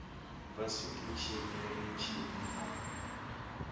va switichi ni michini na